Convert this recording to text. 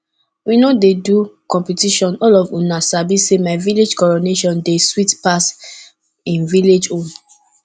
we no dey do competition all of una sabi say my village coronation dey sweet pass im village own